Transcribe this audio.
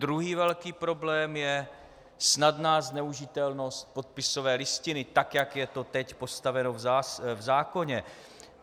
Druhý velký problém je snadná zneužitelnost podpisové listiny, tak jak je to teď postaveno v zákoně.